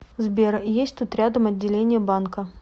сбер есть тут рядом отделение банка